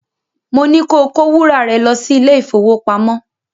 Mo ní ko kó wúrà rẹ lọ́ sí ilé-ìfowópamọ́